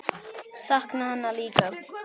Sakna hennar líka.